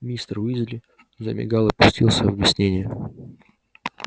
мистер уизли замигал и пустился в объяснения